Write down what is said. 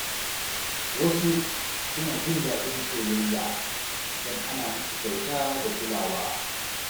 Wasu suna jin daɗin soyayya idan ana musu kyauta da kulawa.